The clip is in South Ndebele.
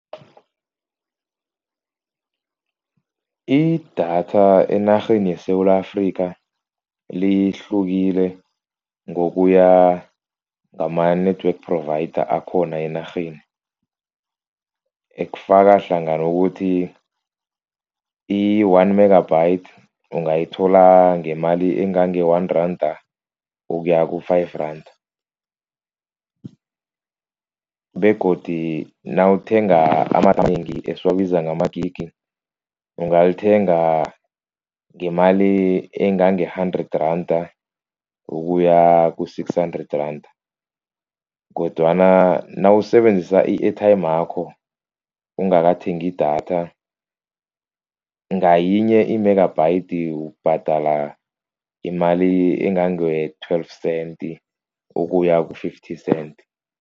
Idatha enarheni yeSewula Afrika lihlukile ngokuya ngama-network provider akhona enarheni. Ekufakahlangana ukuthi i-one megabytes ungayithola ngemali engange one randa ukuya ku-five randa begodu nawuthenga amanengi esiwabiza ngamagigi. Ungalithenga ngemali engange-hundred randa ukuya ku-six hundred randa kodwana nawusebenzisa i-airtime yakho ungakathengi idatha. Ngayinye i-megabytes ubhadala imali engange twelve cents ukuya ku-fifty cents.